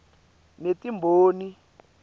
netimboni